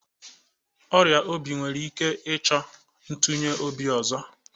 Ọrịa obi nwere ike ịchọ itunye obi ozo